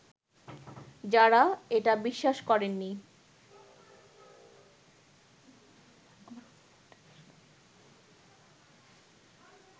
যারা এটা বিশ্বাস করেননি